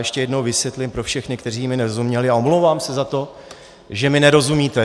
Ještě jednou vysvětlím pro všechny, kteří mi nerozuměli, a omlouvám se za to, že mi nerozumíte.